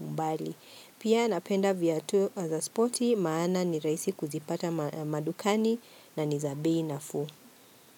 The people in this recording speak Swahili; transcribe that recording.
mbali. Pia napenda viatu za spoti, maana ni rahisi kuzipata madukani na nizabei nafuu.